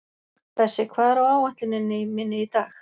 Bessi, hvað er á áætluninni minni í dag?